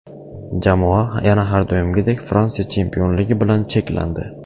Jamoa yana har doimgidek Fransiya chempionligi bilan cheklandi.